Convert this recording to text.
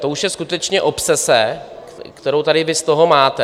To už je skutečně obsese, kterou vy tady z toho máte.